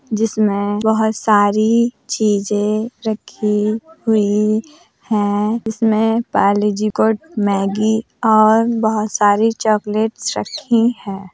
जिसमें बहुत सारी चीजें रखी हुई हैं जिसमें पार्लेजी और मैगी और बहुत सारी चॉक्लेट्स रखी हैं।